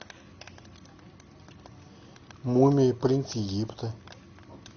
мумия принц египта